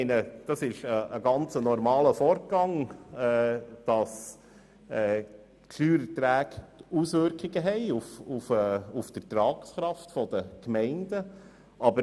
Es ist ein ganz normaler Vorgang, dass die Steuererträge Auswirkungen auf die Ertragskraft der Gemeinden haben.